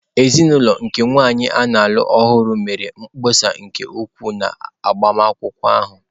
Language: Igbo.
Ezinụlọ nke nwanyị a na-alụ ọhụrụ mere mkpesa nke ukwuu na agbamakwụkwọ ahụ.